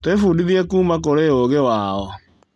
Twĩbundithie kuuma kũrĩ ũũgĩ wao.